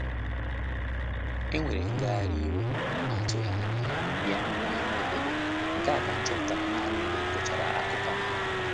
Enwere ngagharị iwe a na-atughi anya ya ya n'ime obodo, nke a ka m chọpụtara nanị mgbe m gụchara akụkọ ahu